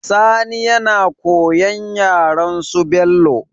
Sani yana koyan yaren su bello